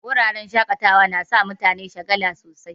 Wuraren shaƙatawa yana sa mutane shagala sosai